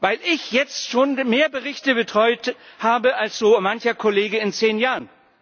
Weil ich jetzt schon mehr Berichte betreut habe als so mancher Kollege in zehn Jahren?